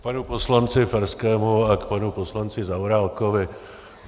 K panu poslanci Farskému a k panu poslanci Zaorálkovi.